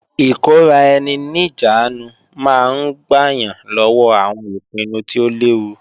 Ìkóra-ẹni-níjàánu máa ń gbà yàn lọ́wọ́ àwọn ìpinnu tí ó léwu